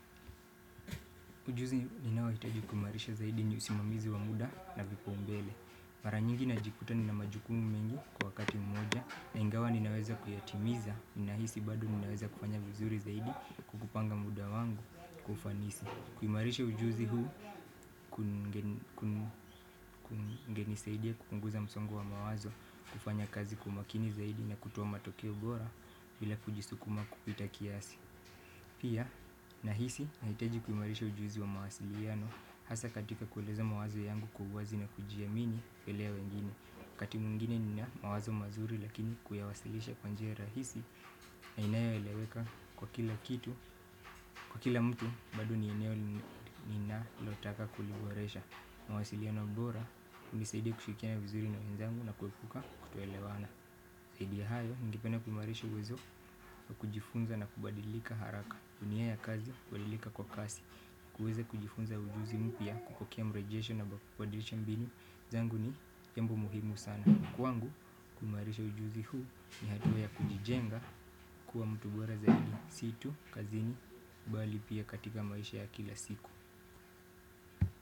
Ujuzi ninaohitaji kuimarisha zaidi ni usimamizi wa muda na vipaumbele mara nyingi najikuta nina majukumu mengi kwa wakati mmoja na ingawa ninaweza kuyatimiza. Ninahisi bado ninaweza kufanya vizuri zaidi kukupanga muda wangu kwa ufanisi. Kuimarisha ujuzi huu kungenisaidia kupunguza msongo wa mawazo kufanya kazi kwa makini zaidi na kutoa matokeo bora bila kujisukuma kupita kiasi. Pia nahisi nahitaji kuimarisha ujuzi wa mawasiliano hasa katika kueleza mawazo yangu kwa uwazi na kujiamini mbele ya wengine wakati mwingine nina mawazo mazuri lakini kuyawasilisha kwa njia rahisi na inayo eleweka kwa kila kitu, kwa kila mtu bado ni eneo ni na lotaka kuliboresha. Mawasiliano bora, hunisaidia kushirikiana vizuri na wenzangu na kuepuka kutoelewana. Zaidi ya hayo, ningependa kuimarisha uwezo wa kujifunza na kubadilika haraka unia ya kazi, kubadilika kwa kasi kuweza kujifunza ujuzi mpya, kupokea mrejesho na kubadilisha mbinu zangu ni jambo muhimu sana kwangu, kumarisha ujuzi huu ni hatua ya kujijenga kuwa mtu bora zaidi, si tu, kazini, bali pia katika maisha ya kila siku.